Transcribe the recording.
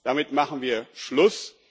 Damit machen wir Schluss.